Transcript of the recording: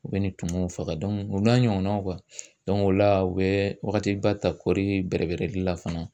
U bɛ nin tumuw faga u n'a ɲɔgɔnnaw o la u bɛ wagatiba ta kɔɔri bɛrɛ bɛɛrɛli la fana.